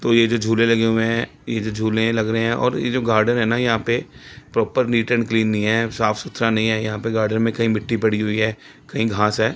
तो यह जो झूले लगे हुए हैं। ये जो झूले लग रहे हैं और यह जो गार्डन है ना यहां पे प्रॉपर नीट एंड क्लीन नहीं है। साफ सुथरा नहीं है यहां पे गार्डन में कहीं मिट्टी पड़ी हुई है कहीं घास है।